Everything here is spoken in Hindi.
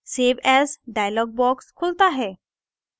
save as dialog box खुलता है